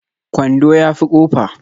Kwando ya fi kofa